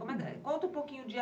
Conta um pouquinho dia